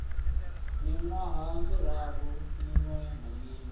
miṅwaha miraru miṅwe na miṅwe